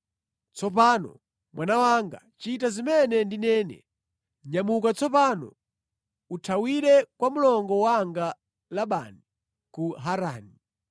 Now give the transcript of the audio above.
Tsopano mwana wanga, chita zimene ndinene: Nyamuka tsopano, uthawire kwa mlongo wanga Labani ku Harani.